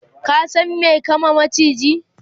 ka San me kama maciji?